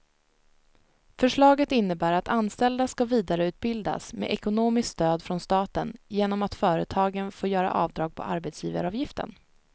Förslaget innebär att anställda ska vidareutbildas med ekonomiskt stöd från staten genom att företagen får göra avdrag på arbetsgivaravgiften.